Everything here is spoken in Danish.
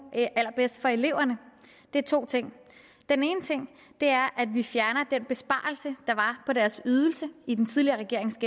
allerbedst for eleverne er to ting den ene ting er at vi fjerner den besparelse der var på deres ydelse i den tidligere regerings